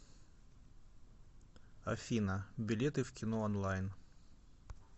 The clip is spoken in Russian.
афина билеты в кино онлайн